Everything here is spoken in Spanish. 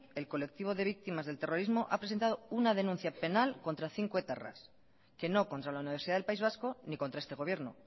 el colectivo de víctimas del terrorismo ha presentado una denuncia penal contra cinco etarras que no contra la universidad del país vasco ni contra este gobierno